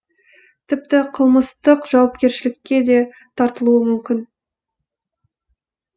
тіпті қылмыстық жауапкершілікке де тартылуы мүмкін